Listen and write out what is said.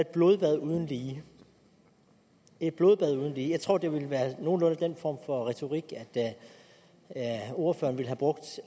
blodbad uden lige et blodbad uden lige jeg tror det ville være nogenlunde den form for retorik ordføreren ville have brugt